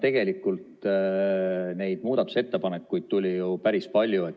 Tegelikult neid muudatusettepanekuid tuli ju päris palju.